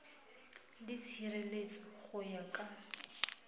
le tshireletso go ya ka